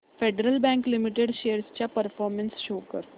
federal Bank Limited shares चा performance show कर